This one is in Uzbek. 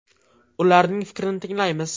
Ularning fikrini tinglaymiz.